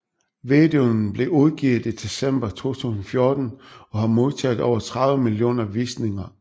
Videoen blev udgivet i december 2014 og har modtaget over 30 millioner visninger